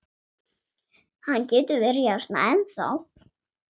Hann getur verið hérna ennþá.